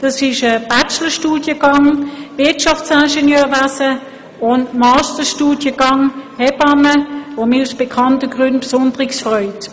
Es handelt sich um einen Bachelorstudiengang Wirtschaftsingenieur und um einen Masterstudiengang Hebamme, der mich aus bekannten Gründen besonders freut.